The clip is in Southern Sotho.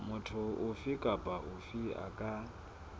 motho ofe kapa ofe a